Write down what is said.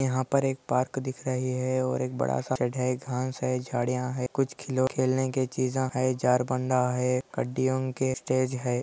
यहाँ पर एक पार्क दिख रही है और एक बड़ा सा सेड है घास है कुछ झाड़ियाँ है कुछ खिलौने खेलने के चीजा है चार बंडा है।